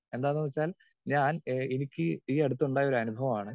speaker 2 എന്താന്ന് വെച്ചാൽ ഞാൻ ഏഹ് എനിക്ക് ഈ അടുത്തുണ്ടായ ഒരു അനുഭവമാണ്